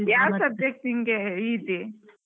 subject ನಿಂಗೆ easy ?